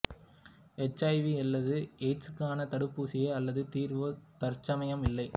H I V அல்லது எயிட்ஸுக்கான தடுப்பூசியோ அல்லது தீர்வோ தற்சமயம் இல்லை